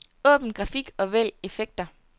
Åbn grafik og vælg effekter.